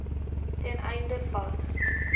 ten einde vas